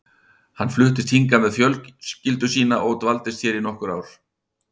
Hann fluttist hingað með fjölskyldu sína og dvaldist hér í nokkur ár.